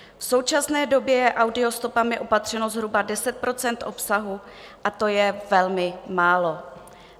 V současné době je audiostopami opatřeno zhruba 10 % obsahu a to je velmi málo.